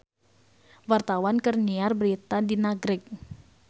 Wartawan keur nyiar berita di Nagreg